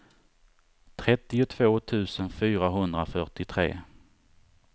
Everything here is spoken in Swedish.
trettiotvå tusen fyrahundrafyrtiotre